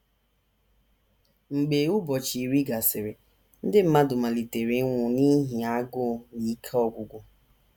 Mgbe ụbọchị iri gasịrị, ndị mmadụ malitere ịnwụ n’ihi agụụ na ike ọgwụgwụ.